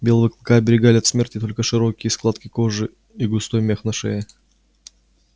белого клыка оберегали от смерти только широкие складки кожи и густой мех на шее